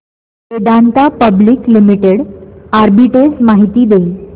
Vedanta public limited arbitrage माहिती दे